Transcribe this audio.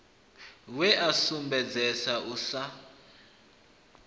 we a sumbedzesa u sa